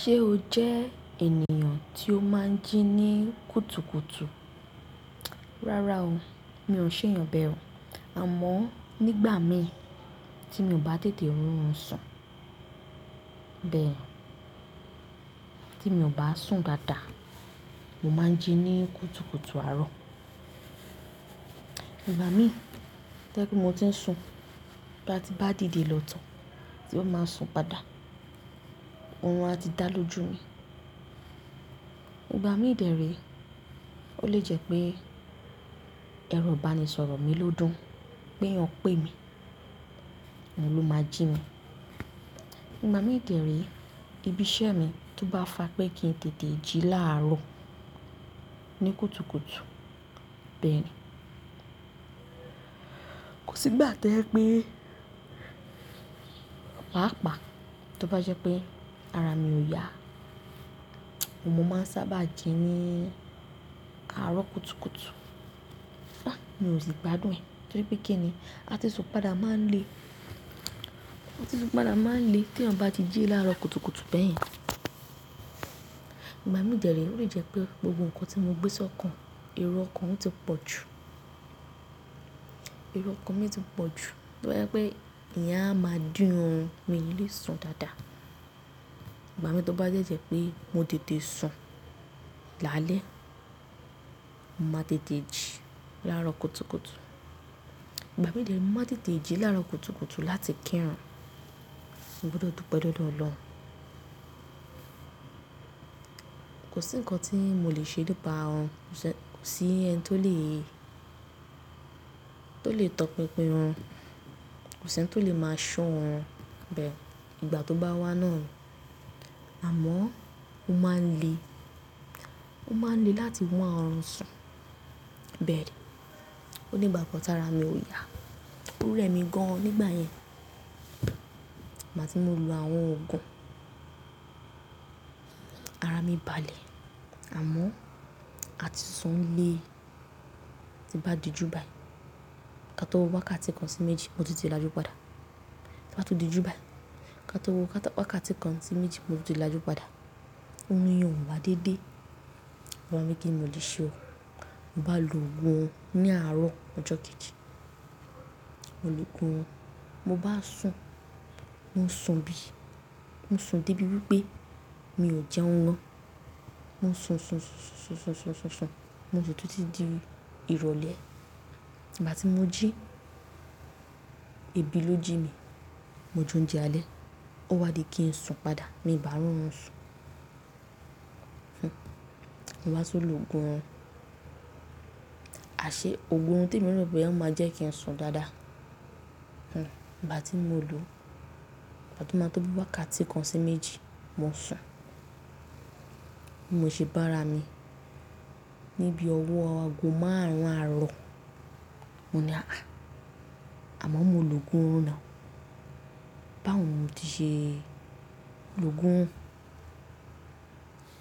Ṣe o jẹ ènìyàn tí o máa ń jí ní kùtùkùtù? Rárá o, mi ò n ṣeèyàn bẹ o. Àmọ́ nígbà mìí tí mi ò bá tètè rorùn sùn, bẹ́ẹ̀ tí mi ò bá sùn dáadáa, mo máa ń jí ní kùtùkùtù àárọ̀. Ìgbà míì, to jẹ́ pe mo ti ń sùn, ba ti n bá dìde lọ̀ to tí ó máa sùn padà, orùn a ti dá lójú mi. Ìgbà míì dè re, o le jẹ́ pé ẹro ibanisọ̀rọ̀ mi ló dùn pé eeyàn pè mi, oun ló máa jí mi. Ìgbà míì dè re, ibi iṣẹ́ mi tó bá fa pé kí n tètè jí láàárọ̀ ní kùtùkùtù, bẹ́ẹ̀ ni. Kò sígbà to je pé paapaa, tó bá jẹ́ pé ara mi ò yá, ni mo máa ń sábà jí ní àárọ̀ kùtùkùtù. Pá, mi ò sì gbádùn ẹ̀ torí pé kíni, àti sùn padà máa ń le, àti sùn padà máa ń le teeyan bá ti jí láàárọ̀ kùtùkùtù bẹ́ẹ̀ yẹn. Ìgbà míì dè re, o le jẹ́ pé gbogbo nǹkan tí mo gbé sọ́kàn, ero okan o ti pọ̀ jù. Ero okan mi ti pọ̀ jù, tó bá jẹ́ pé ìyen a máa dín orùn mii ni lé sùn dáadáa. Ìgbà mií tó bá de je pé mo tètè sùn lálẹ́, mo màá tètè jí láàárọ̀ kùtùkùtù. Ìgbà míì dè re, mo màá n tètè jí láàárọ̀ kùtùkùtù láti kírun, mo gbudo dupẹ́ lódo Olohun. Kò sí nǹkan tí mo lè ṣe nípa orùn, ko se, kò sí ẹni tó lè, tó lè tọpinpin orùn, kò sẹni tó lè máa ṣọ̀ orùn bẹ́ẹ̀ ìgbà tó bá wá náà ni. Àmọ́ ó máa ń le, ó máa ń le láti wa orùn sùn bẹ́ẹ̀ ni. Ó nìgbà kan tara mi ò yá, ò rẹ̀ mi gan-an nígbà yẹn. Igba ti mo lo àwọn òògùn, ara mi balẹ̀. Àmọ́ àti sùn le, ti n bá dijù báyìí. Ka tó wo wákàtí kan sí méjì, mo tun ti lájú padà. Ti n bá tun dijù báyìí. Ka tó wọ wákàtí kan sí méjì, mo ti tẹ̀ lájú padà. Òrùn yẹn ò wá déédé. Ba ní kíni mo lè ṣe o, mo bá lo ògùn orun ní àárọ̀ ọjọ́ kejì, mo logun orun. Mo bá sùn, mo sùn bí, mo sùn débi wípé mi ò jẹun gán. Mo sùn, sùn, sss sùn, sùn, sùn, sùn, sùn, mo sùn títí di ìrọ̀lẹ́. Igbá ti mo jí, ebi ló jí mi, mo jounje alẹ́. Ó wá di kí n sùn padà, mii bá rorùn sùn. Hmm, mo bá tun lo ògùn orun. Aṣé ògùn orun temi rò boya ó máa jẹ́ kí n sùn dáadáa. Hmm, ìgbá ti mo lo o, ìgbá tó máa tó bii wákàtí kan sí méjì, mo sùn. Mo se bára mi ní bii ọwọ́ ago márùn-ún àárọ̀. Mo ní hà há. Àmọ́ mo logùn orun now. Báwo ni mo ti ṣe logùn?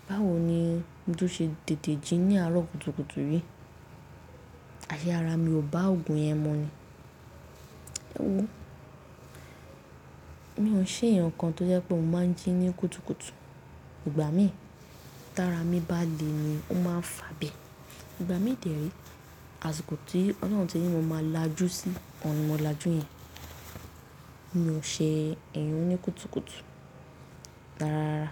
Báwo ni mo tun ṣe tètè jí ní àárọ̀ kùtùkùtù yìí? Aṣé ara mi ò bá ògùn yẹn mu ni. Hmm. Mi ò n ṣeeyàn kan tó jẹ́ pé mo máa ń jí ní kùtùkùtù. Ìgbà mìí, tara mi bá le ni ó máa ń fà bẹe. Ìgbà mìí dè re, àsìkò tí ọlọ́hun ti ní mo máa lájú sí, oun ni mo lájú yẹn, mi ò ṣe eeyàn oní kùtùkùtù rára rára.